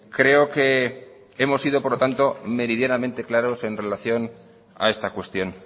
creo que hemos sido por lo tanto meridianamente claros en relación a esta cuestión